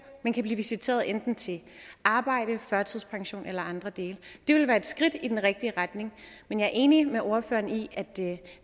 men kan blive visiteret enten til arbejde førtidspension eller eller andre dele det ville være et skridt i den rigtige retning men jeg er enig med ordføreren i at